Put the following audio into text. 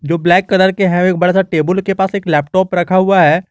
तो black colour के है एक बड़ा सा टेबुल के पास एक लैपटॉप रखा हुआ है।